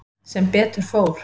Sem betur fór.